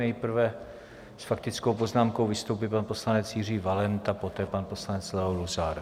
Nejprve s faktickou poznámkou vystoupí pan poslanec Jiří Valenta, poté pan poslanec Leo Luzar.